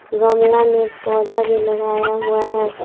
गमला में पौधा भी लगाया हुआ है।